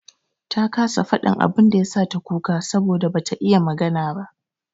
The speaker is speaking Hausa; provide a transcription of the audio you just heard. Ta kasa faɗin abin da ya sa ta kuka saboda bata iya magana ba.